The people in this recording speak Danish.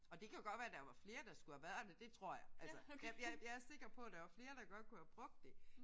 Og det kan jo godt være der var flere der skulle have været det. Det tror jeg. Altså jeg jeg jeg er sikker på der er flere der godt kunne have brugt det